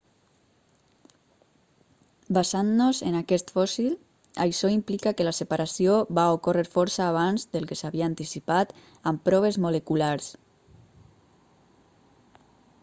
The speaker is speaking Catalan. basant-nos en aquest fòssil això implica que la separació va ocórrer força abans del que s'havia anticipat amb proves moleculars